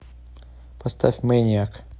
поставь мэниак